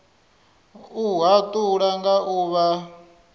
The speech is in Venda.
u hatula nga u vha